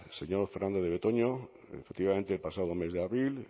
señor fernandez de betoño efectivamente el pasado mes de abril